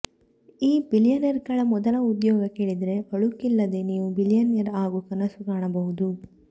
ಈ ಬಿಲಿಯನೇರ್ಗಳ ಮೊದಲ ಉದ್ಯೋಗ ಕೇಳಿದ್ರೆ ಅಳುಕಿಲ್ಲದೆ ನೀವೂ ಬಿಲಿಯನೇರ್ ಆಗೋ ಕನಸು ಕಾಣಬಹುದು